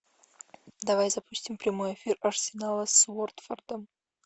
давай запустим прямой эфир арсенала с уотфордом